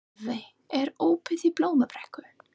Hafey, er opið í Blómabrekku?